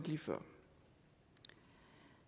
lige før